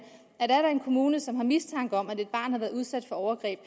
kommune som har mistanke om at et barn har været udsat for overgreb